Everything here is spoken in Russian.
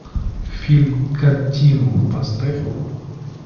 фильм континуум поставь